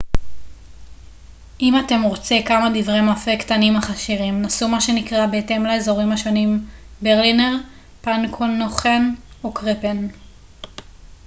אם אתם רוצה כמה דברי מאפה קטנים אך עשירים נסו מה שנקרא בהתאם לאזורים השונים ברלינר פנקנוכן או קרפן